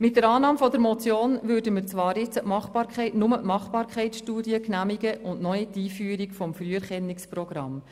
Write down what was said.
Mit Annahme der Motion würden wir jetzt zwar nur die Machbarkeitsstudie genehmigen und noch nicht die Einführung des Früherkennungsprogramms.